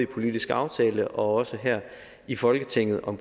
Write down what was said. politisk aftale og også her i folketinget og